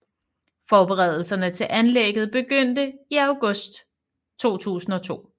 Forberedelserne til anlægget begyndte i august 2002